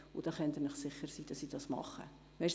Sie können sich sicher sein, dass ich das tun werde.